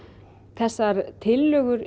þessar tillögur